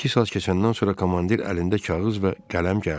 Bir-iki saat keçəndən sonra komandir əlində kağız və qələm gəldi.